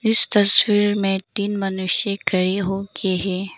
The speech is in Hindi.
इस तस्वीर में तीन मनुष्य खड़े होके हैं।